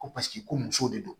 Ko paseke ko muso de don